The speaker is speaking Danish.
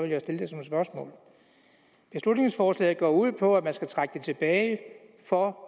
vil jeg stille det som et spørgsmål beslutningsforslaget går ud på at man skal trække det tilbage for